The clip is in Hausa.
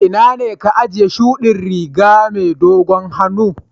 Ina ne ka ajiye shuɗi Riga na mai dogon hannu?